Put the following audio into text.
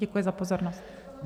Děkuji za pozornost.